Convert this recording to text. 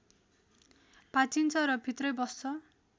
भाँचिन्छ र भित्रै बस्छ